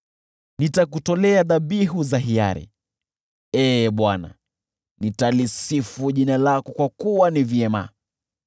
Nitakutolea dhabihu za hiari; Ee Bwana , nitalisifu jina lako kwa kuwa ni vyema.